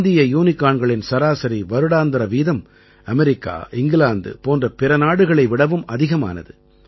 இந்திய யூனிகார்ன்களின் சராசரி வருடாந்தர வீதம் அமெரிக்கா இங்கிலாந்து போன்ற பிற நாடுகளை விடவும் அதிகமானது